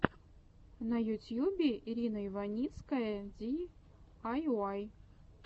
на ютьюбе ирина иваницкая ди ай уай